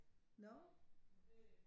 Nå